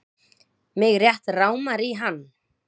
Mig rétt rámar í hann.